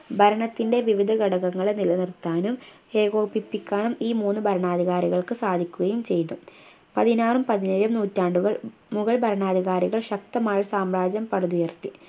ഭരണത്തിൻ്റെ വിവിധ ഘടകങ്ങൾ നിലനിർത്താനും ഏകോപിപ്പിക്കാനും ഈ മൂന്ന് ഭരണാധികാരികൾക്ക് സാധിക്കുകയും ചെയ്തു പതിനാറും പതിനേഴും നൂറ്റാണ്ടുകൾ മുഗൾ ഭരണാധികാരികള്‍ ശക്തമായ ഒരു സാമ്രാജ്യം പടുത്തുയർത്തി